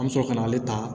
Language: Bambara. An bɛ sɔrɔ ka na ale ta